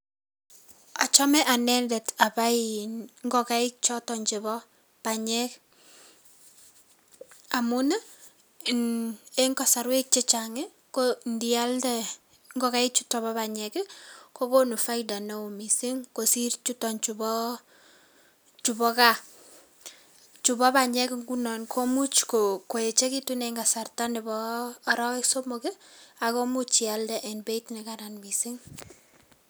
Achome anendet abai ngokaik choto chebo panyek amun eng kasarwek chechang ndialde ngokaik chuto bo panyek kokonu faida mising kosiir chutokchu bo gaa. Chubo panyek nguni komuch koechekitu eng kasarta nebo arawek somok ako much ialde eng beit nekaran mising.